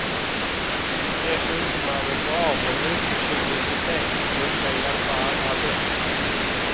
Dessutom är det bra med mycket publicitet, det brukar hjälpa allra bäst.